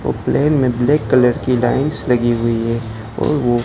ओ plane में black colour की lines लगी हुई है और वो--